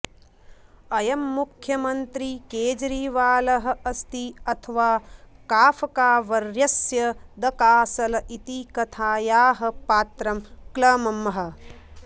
अयं मुख्यमन्त्री केजरीवालः अस्ति अथवा काफ़कावर्यस्य द कासल इति कथायाः पात्रं क्लम्मः